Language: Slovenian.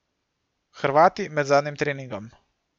Hrvati med zadnjim treningom.